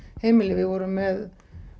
heimili við vorum með